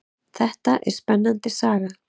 Þetta er spennandi saga.